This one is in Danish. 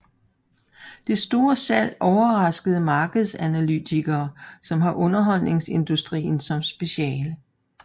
Det store salg overraskede markedsanalytikere som har underholdningsindustrien som speciale